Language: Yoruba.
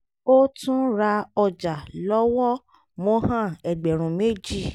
ó tún ra ọjà lọ́wọ́ mohan ẹgbẹ̀rún méjì